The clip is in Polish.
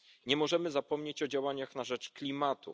Nie możemy zapomnieć o działaniach na rzecz klimatu.